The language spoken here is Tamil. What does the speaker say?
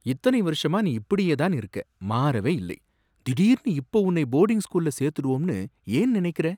இத்தனை வருஷமா நீ இப்படியேதான் இருக்க, மாறவே இல்லை, திடீர்னு இப்போ உன்னை போர்டிங் ஸ்கூல்ல சேர்த்துடுவோம்னு ஏன் நினைக்குற